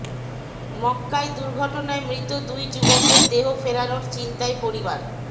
মক্কায় দুর্ঘটনায় মৃত দুই যুবকের দেহ ফেরানোর চিন্তায় পরিবার